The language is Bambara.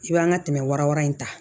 I b'an ka tɛmɛ wara wara in ta